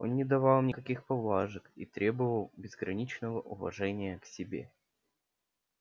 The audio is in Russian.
он не давал им никаких поблажек и требовал безграничного уважения к себе